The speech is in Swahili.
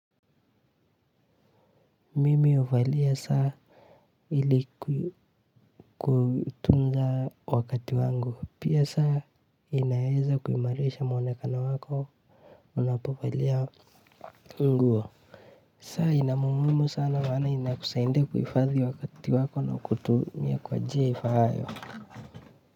Mimi huvalia saa ili kutunza wakati wangu, pia saa inaweza kuimarisha mwonekano wako. Unapovalia nguo, saa ina umuhimu sana na inakusaidia kuhifadhi wakati wako na kutumia kwa njia ifaayo.